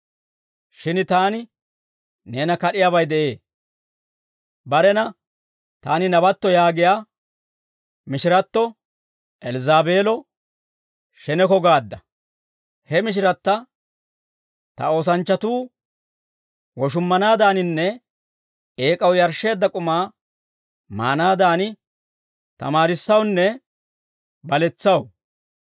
Shin taani neena kad'iyaabay de'ee; barena, Taani nabatto yaagiyaa mishiratto Elzzaabeelo sheneko gaadda; he mishiratta ta oosanchchatuu woshummanaadaaninne eek'aw yarshsheedda k'umaa maanaadan, tamaarissawunne baletsaw.